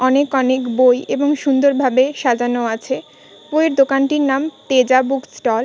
অনেক অনেক বই এবং সুন্দরভাবে সাজানো আছে । বইয়ের দোকানটির নাম তেজা বুক স্টল ।